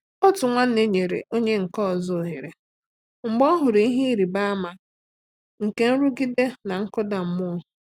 Otu nwanne nyere onye nke ọzọ ohere mgbe ọ hụrụ ihe ịrịba ama nke nrụgide na nkụda mmụọ.